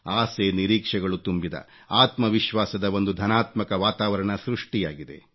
ಆಸೆನಿರೀಕ್ಷೆಗಳು ತುಂಬಿದ ಆತ್ಮವಿಶ್ವಾಸದ ಒಂದು ಧನಾತ್ಮಕ ವಾತಾವರಣ ಸೃಷ್ಟಿಯಾಗಿದೆ